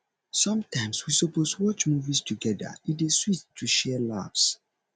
sometimes we suppose watch movies togeda e dey sweet to share laughs